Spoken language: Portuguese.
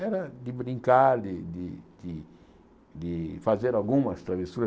Era de brincar, de de de de fazer algumas travessuras.